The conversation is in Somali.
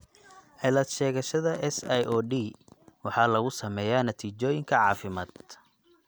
Cilad-sheegashada SIOD waxa lagu sameeyaa natiijooyinka caafimaad.